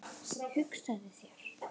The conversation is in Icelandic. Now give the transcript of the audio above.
Hugsaðu þér.